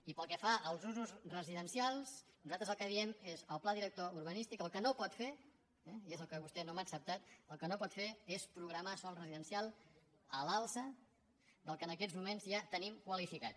i pel que fa als usos residencials nosaltres el que diem és el pla director urbanístic el que no pot fer eh i és el que vostè no m’ha acceptat és programar sòl residencial a l’alça del que en aquests moments ja tenim qualifi·cat